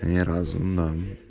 неразумно